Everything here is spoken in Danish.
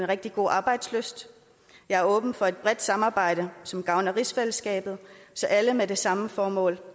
rigtig god arbejdslyst jeg er åben for et bredt samarbejde som gavner rigsfællesskabet så alle med det samme formål